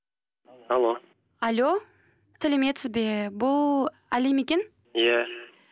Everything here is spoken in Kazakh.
алло алло сәлеметсіз бе бұл әли ме екен иә